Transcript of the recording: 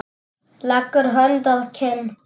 Leggur hönd að kinn.